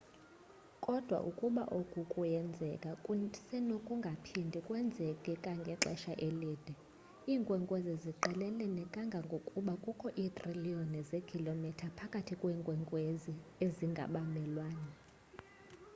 kodwa ukuba oku kuyenzeka kusenokungaphindi kwenzeke kangangexesha elide iinkwenkwezi ziqelelene kangangokuba kukho iitriliyoni zeekhilomitha phakathi kweenkwezi ezingabamelwane